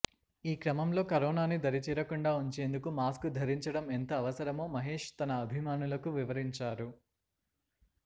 ఈ క్రమంలో కరోనాను దరిచేరకుండా ఉంచేందుకు మాస్కు ధరించడం ఎంత అవసరమో మహేశ్ తన అభిమానులకు వివరించారు